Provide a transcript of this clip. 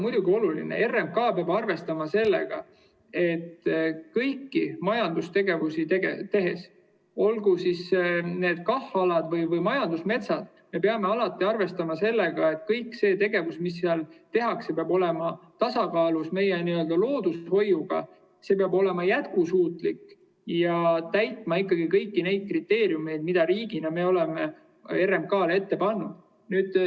Muidugi on oluline, et RMK peab arvestama sellega: kõigi majandustegevuste puhul, olgu need KAH‑aladel või majandusmetsas, peab kogu see tegevus, mis seal toimub, olema tasakaalus loodushoiuga, see peab olema jätkusuutlik ja täitma ikkagi kõiki neid kriteeriume, mida me riigina oleme RMK‑le ette pannud.